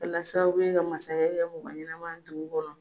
Walasa u bɛ ka masakɛ kɛ mɔgɔ ɲɛnama ye dugu kɔnɔ.